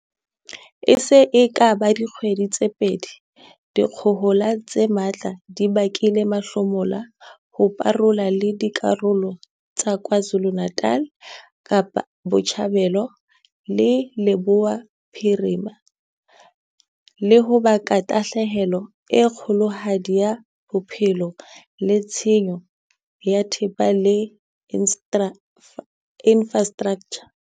E se e ka ba dikgwedi tse pedi dikgohola tse matla di bakile mahlomola ho parola le dikarolo tsa KwaZuluNatal, Kapa Botjhabela le Leboya Bophirima, le ho baka tahlehelo e kgolohadi ya bophelo le tshenyo ya thepa le infra straktjha.